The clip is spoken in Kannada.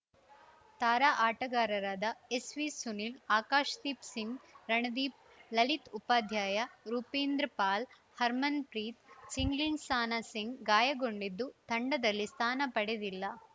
ತಾರಾ ಆಟಗಾರರಾದ ಎಸ್‌ವಿಸುನಿಲ್‌ ಆಕಾಶ್‌ದೀಪ್‌ ಸಿಂಗ್‌ ರಮಣ್‌ದೀಪ್‌ ಲಲಿತ್‌ ಉಪಾಧ್ಯಾಯ ರೂಪಿಂದರ್‌ ಪಾಲ್‌ ಹರ್ಮನ್‌ಪ್ರೀತ್‌ ಚಿಂಗ್ಲೆನ್ಸಾನ ಸಿಂಗ್‌ ಗಾಯಗೊಂಡಿದ್ದು ತಂಡದಲ್ಲಿ ಸ್ಥಾನ ಪಡೆದಿಲ್ಲ